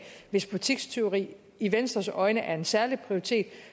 hvis butikstyveri i venstres øjne er en særlig prioritet